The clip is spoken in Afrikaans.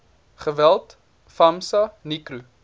geweld famsa nicro